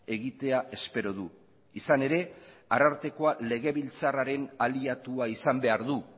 egitea espero du izan ere arartekoa legebiltzarraren aliatua izan behar du